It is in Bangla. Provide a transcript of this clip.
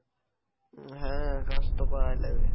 হ্যাঁ কাজ তো করাই লাগে।